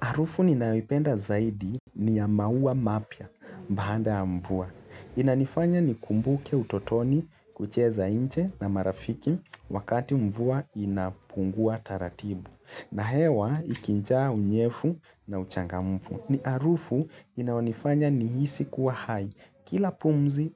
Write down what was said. Arufu ninayoipenda zaidi ni ya maua mapya mbaanda ya mvua. Inanifanya nikumbuke utotoni kucheza inche na marafiki wakati mvua inapungua taratibu. Na hewa ikinjaa unyefu na uchangamfu. Ni arufu inaonifanya nihisi kuwa hai. Kila pumzi